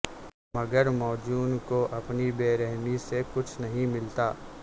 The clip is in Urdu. مگر موجوں کو اپنی برہمی سے کچھ نہیں ملتا